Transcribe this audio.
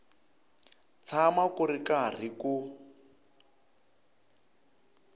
tshama ku ri karhi ku